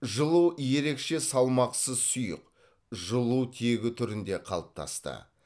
жылу ерекше салмақсыз сұйық жылу тегі түрінде қалыптасты